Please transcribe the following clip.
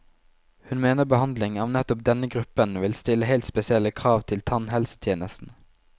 Hun mener behandling av nettopp denne gruppen vil stille helt spesielle krav til tannhelsetjenesten.